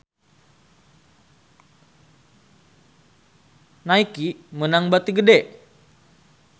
Nike meunang bati gede